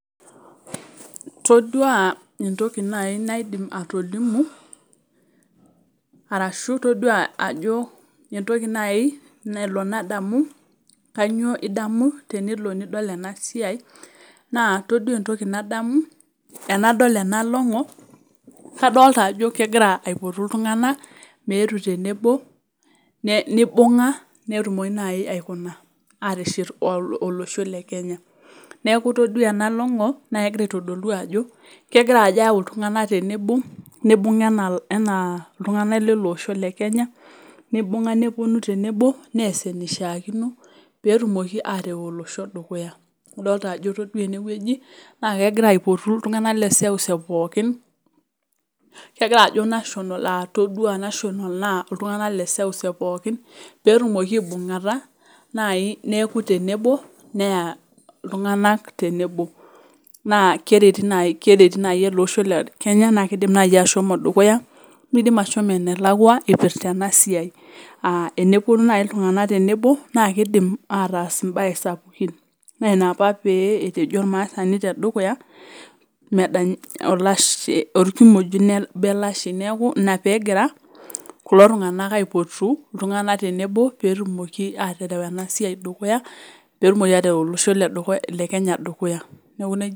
Toduaa entoki nai naidim atolimu arashu toduaa ajo entoki nai nelo nadamu kanyio idamu tenelo nidol enasiai naa toduaa entoki nadamu enadol ena long'o kadolta ajo kegira aipotu iltung'ana meetu tenebo ne neibung'a netumoki nai aikuna aateshet [ol] olosho le Kenya. Neaku toduaa ena long'o naakegira aitodolu ajo kegira ajo eyau iltung'ana tenebo neibung'a ena enaa iltung'ana leleosho le Kenya neibung'a nepuonu tenebo neas eneishaakino peetumoki areu olosho dukuya. Adolta ajo toduaa enewueji naakegira aipotu iltung'ana leseuseu pookin. Kegiraajo national aah toduaa national naa iltung'ana leseuseu pookin peetumoki aibung'ata nai neaku tenebo neya iltung'anak tenebo naa kereti nai kereti nai eleosho le Kenya naakeidim nai ashomo dukuya neidim ashomo enelakua eipirta enasiai aah enepuonu nai iltung'anak tenebo naakeidim ataas imbae sapukin naina apa pee etejo olmaasani tedukuya medany olashh olkimojino obo elashei. Neaku ina peegira kulo tung'anak aipotu iltung'ana tenebo peetumoki aatereu enasiai dukuya, peetumoki atereu olosho ledukuya le Kenya dukuya. Neaku neija.